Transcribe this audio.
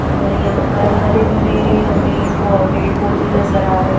अ यहा पर हरे भरे हमें पेड़ पोधे नज़र आ रहे है ।